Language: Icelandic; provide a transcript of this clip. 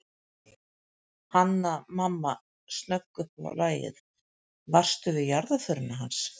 Hanna-Mamma snögg upp á lagið:- Varstu við jarðarförina hans